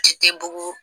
Ci tɛ bugun